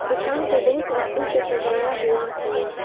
दुकान को बहुत सारा फूल से सजाया हुआ है।